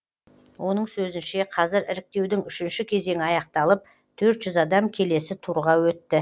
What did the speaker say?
оның сөзінше қазір іріктеудің үшінші кезеңі аяқталып төрт жүз адам келесі турға өтті